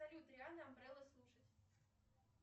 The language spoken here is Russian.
салют рианна амбрелла слушать